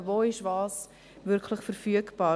Wo ist was wirklich verfügbar?